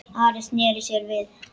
Ari sneri sér við.